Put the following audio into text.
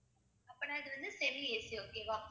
அப்பன்னா இது வந்து semi AC okay வா?